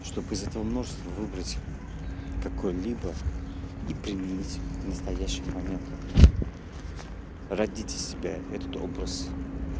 чтобы из этого множества выбрать какой-либо и применить настоящий момент родите себя этот образ